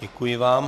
Děkuji vám.